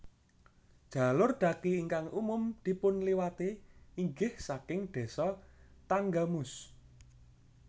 Jalur dhaki ingkang umum dipun liwati inggih saking Désa Tanggamus